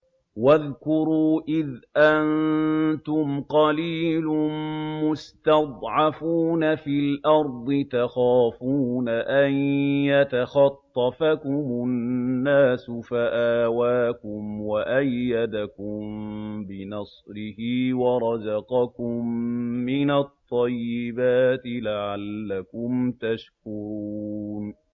وَاذْكُرُوا إِذْ أَنتُمْ قَلِيلٌ مُّسْتَضْعَفُونَ فِي الْأَرْضِ تَخَافُونَ أَن يَتَخَطَّفَكُمُ النَّاسُ فَآوَاكُمْ وَأَيَّدَكُم بِنَصْرِهِ وَرَزَقَكُم مِّنَ الطَّيِّبَاتِ لَعَلَّكُمْ تَشْكُرُونَ